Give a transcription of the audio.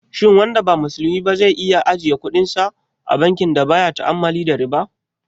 Shin wanda ba musulmi ba zai iya ajiye kudinsa a bankin da baya ta'ammali da riba?